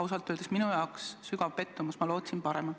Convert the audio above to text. Ausalt öeldes on see minu jaoks suur pettumus, ma lootsin paremat.